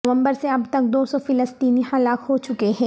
نومبر سے اب تک دو سو فلسطینی ہلاک ہو چکے ہیں